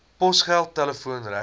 posgeld telefoon regskoste